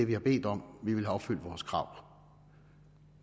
vi har bedt om vi vil have opfyldt vores krav